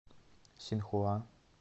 синхуа